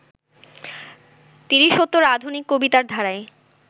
তিরিশোত্তর আধুনিক কবিতার ধারায়